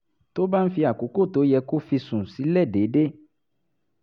tó bá ń fi àkókò tó yẹ kó fi sùn sílẹ̀ déédéé